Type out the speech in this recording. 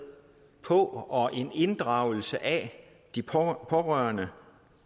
på og en inddragelse af de pårørende